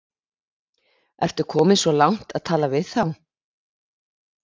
Ertu kominn svo langt að tala við þá?